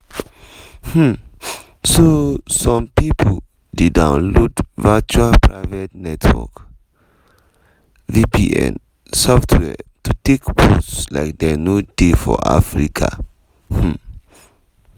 um so some pipo dey download virtual private network (vpn) softwares to take pose like dem no dey for africa. um